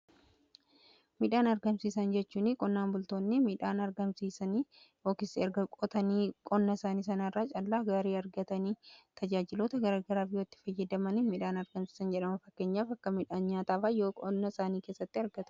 midhaan argamsiisan jechuu qonnaan bultoonni midhaan argamsiisanii yookiin erga qotanii qonna isaanii isaanii irraa callaa gaarii argatanii tajaajilota gargaraaf yoo itti fayyadaman midhaan argamsiisan jedhama. fakkeenyaaf akka midhaan nyaataa qonna isaanii keessatti argatu.